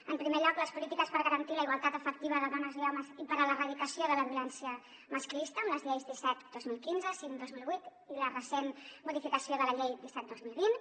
en primer lloc les polítiques per garantir la igualtat efectiva de dones i homes i per a l’erradicació de la violència masclista amb les lleis disset dos mil quinze cinc dos mil vuit i la recent modificació de la llei disset dos mil vint